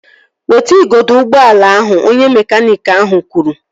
Weta igodo ụgbọala ahụ! Onye mekaniiki ahụ kwuru